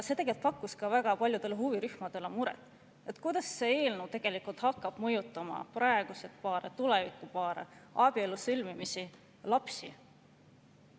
See tegi ka väga paljudele huvirühmadele muret, kuidas see eelnõu hakkab mõjutama praegusi paare, tulevikupaare, abielude sõlmimist, lapsi.